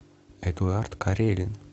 эдуард карелин